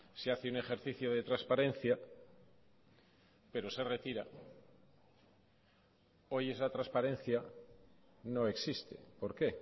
se hace un ejercicio de transparencia pero se retira hoy esa transparencia no existe por qué